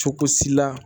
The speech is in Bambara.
Cogo si la